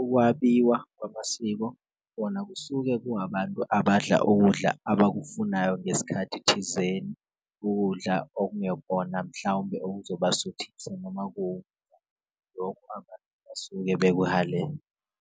ukwabiwa kwamasiko kona kusuke kuwabantu abadla ukudla abakufunayo ngesikhathi thizeni, ukudla okungekona mhlawumbe okuzobasuthisa, noma abantu basuke bekuhalele.